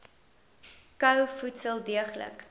kou voedsel deeglik